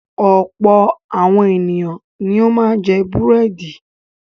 Ọ̀pọ̀ àwọn ènìyàn ni ó máa ń jẹ búrẹ́dì.